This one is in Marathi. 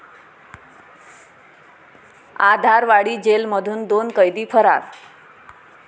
आधारवाडी जेलमधून दोन कैदी फरार